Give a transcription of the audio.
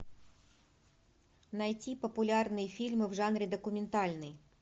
найти популярные фильмы в жанре документальный